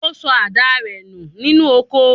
Ó sọ àdáa rẹ̀ nù nínú oko.